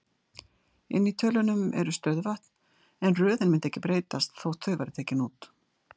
Inni í tölunum eru stöðuvötn, en röðin mundi ekki breytast þótt þau væru tekin út.